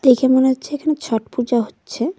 দেখে মনে হচ্ছে এখানে ছট পূজা হচ্ছে।